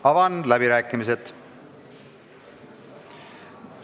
Avan läbirääkimised.